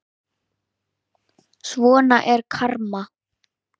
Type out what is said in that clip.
Svona er karma.